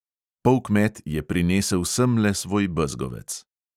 Polkmet je prinesel semle svoj bezgovec.